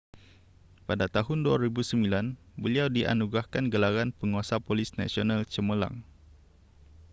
pada tahun 2009 beliau dianugerahkan gelaran penguasa polis nasional cemerlang